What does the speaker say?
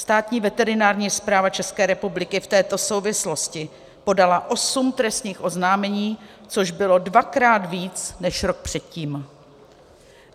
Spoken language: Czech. Státní veterinární správa České republiky v této souvislosti podala osm trestních oznámení, což bylo dvakrát víc než rok předtím.